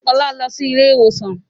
Ọlá lọ síí ilé ìwòsàn